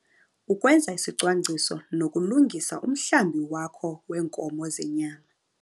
Ukwenza isicwangciso nokulungisa umhlambi wakho weenkomo zenyama